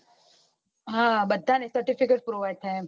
હા બધા ને certificate provide થાય એમ